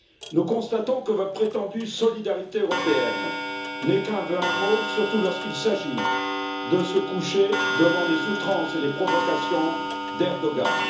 Nous constatons que votre prétendue solidarité européenne n'est qu'un vain mot, surtout lorsqu'il s'agit de se coucher devant les outrances et les provocations d'Erdoğan.